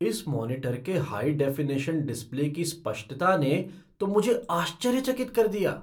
इस मॉनिटर के high definition display की स्पष्टता ने तो मुझे आश्चर्यचकित कर दिया।